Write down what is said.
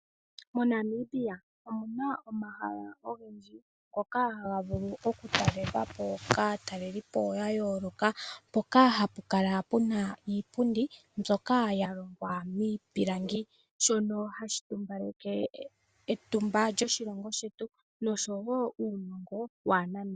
MoNamibia omu na omahala ogendji ngoka haga vulu okutalelwapo kaatalelipo ya yooloka mpoka hapu kala pu na iipundi mbyoka ya longwa miipilangi shoka hashi tumbaleke etumba lyoshilongo shetu noshowo uunongo waaNamibia.